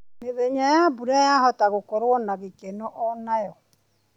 Mĩthenya ya mbura yahota gũkorwo na gĩkeno onayo.